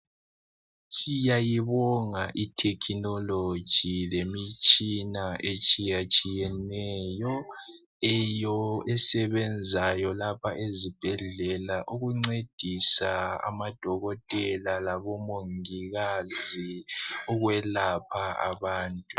Siyabonga I technology lemitshina etshiyayshiyaneyo esebenzayo lapha ezibhedlela ukuncedisa amadokotela labomongikazi ukuncedisa abantu